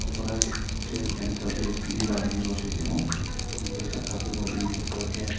thoraised sail and service delar henui roi sio unke saka ke bo building tor ke.